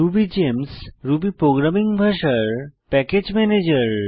Ruby Games Ruby programming ভাষার package manager